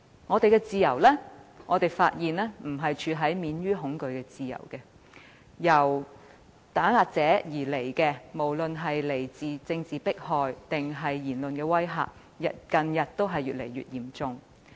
我們發現現時享有的自由並非免於恐懼的自由，來自打壓者的不管是政治迫害還是言論威嚇，近日都越見嚴重。